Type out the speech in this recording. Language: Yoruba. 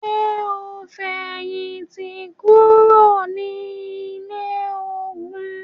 Ṣe o n fẹhinti kuro ni ile-ogun?